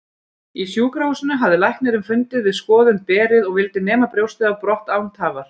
Í sjúkrahúsinu hafði læknirinn fundið við skoðun berið og vildi nema brjóstið brott án tafar.